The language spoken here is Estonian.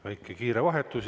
Väike kiire vahetus.